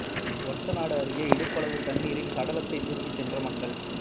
ஒரத்தநாடு அருகே இடுப்பளவுத் தண்ணீரில் சடலத்தை தூக்கிச் சென்ற மக்கள்